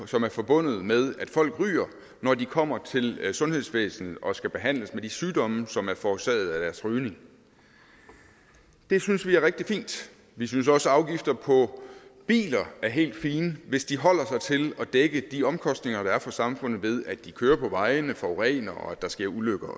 som er forbundet med at folk ryger når de kommer til sundhedsvæsenet og skal behandles for de sygdomme som er forårsaget af deres rygning det synes vi er rigtig fint vi synes også at afgifter på biler er helt fine hvis de holder sig til at dække de omkostninger der er for samfundet ved at de kører på vejene forurener og at der sker ulykker